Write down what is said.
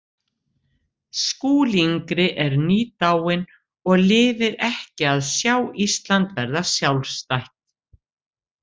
Skúli yngri er nýdáinn og lifir ekki að sjá Ísland verða sjálfstætt.